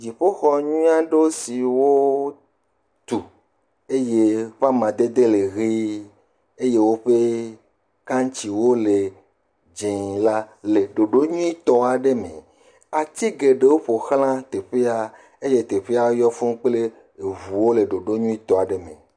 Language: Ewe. Dziƒoxɔ nyui aɖe siwo tu eye eƒe amadede le ʋie eye woƒe kantsiwo le dzɛ la, le ɖoɖo nyuie tɔ aɖe me. Ati geɖewo yɔ teƒe eye teƒea yɔ fuu kple ŋuwo le ɖoɖo nyuie tɔ aɖe me